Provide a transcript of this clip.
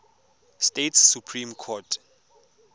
states supreme court